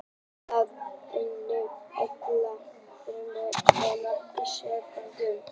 Það endurnýjar allar frumur á nokkrum sekúndum.